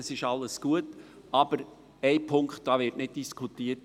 das alles ist gut, aber ein Punkt wird nicht diskutiert;